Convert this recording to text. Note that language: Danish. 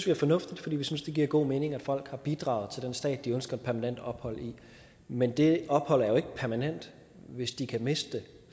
er fornuftigt for vi synes det giver god mening at folk har bidraget til den stat de ønsker et permanent ophold i men det ophold er jo ikke permanent hvis de kan miste det